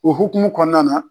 O hukumu kɔnɔna na.